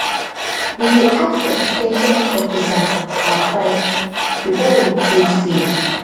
we dey ask ex ten sion officer advice before we choose seed